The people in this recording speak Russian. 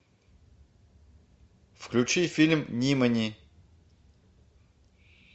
включи фильм нимани